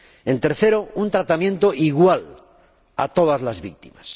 En tercer lugar, un tratamiento igual a todas las víctimas.